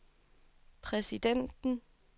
præsidenten